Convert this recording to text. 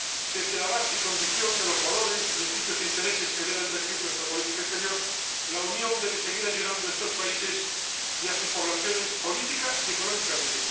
Desde la base y condición de los valores, principios e intereses que deben regir nuestra política exterior, la Unión debe seguir ayudando a estos países y a sus poblaciones política y económicamente.